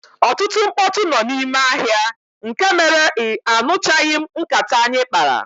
Ọtụtụ mkpọtụ nọ n'ime ahịa nke mere ia nụchaghim nkata anyị kpara.